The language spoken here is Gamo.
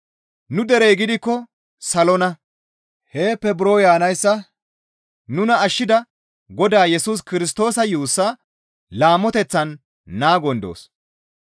Nu derey gidikko salonna; heeppe buro yaanayssa nuna ashshida Godaa Yesus Kirstoosa yuussaa laamoteththan naagon doos.